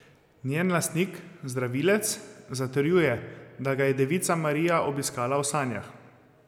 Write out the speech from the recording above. Njen lastnik, zdravilec, zatrjuje, da ga je devica Marija obiskala v sanjah.